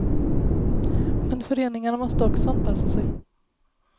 Men föreningarna måste också anpassa sig.